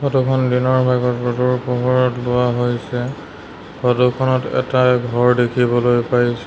ফটোখন দিনৰ ভাগত ৰ'দৰ পোহৰত লোৱা হৈছে ফটোখনত এটা ঘৰ দেখিবলৈ পাইছোঁ।